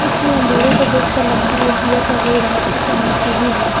इतने अंधेरे को देखकर लगता है कि यह तस्वीर रात के समय की ही है।